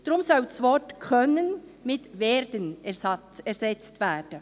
Deswegen soll das Wort «können» durch «werden» ersetzt werden.